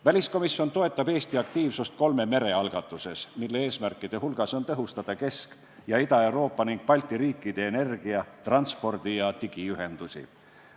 Väliskomisjon toetab Eesti aktiivsust kolme mere algatuses, mille üks eesmärke on tõhustada Kesk- ja Ida-Euroopa ning Balti riikide energia-, transpordi- ja digiühendusi.